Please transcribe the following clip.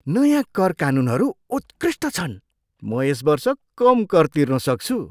नयाँ कर कानुनहरू उत्कृष्ट छन्! म यस वर्ष कम कर तिर्न सक्छु!